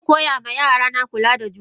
Zankoya ma yarana kula da junan su.